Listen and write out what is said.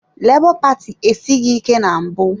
Lebo paati esighị ike na mbụ.